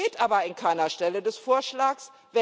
Das steht aber an keiner Stelle des Vorschlags.